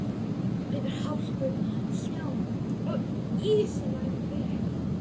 Yfir hálku, snjó og ísilagðan veg.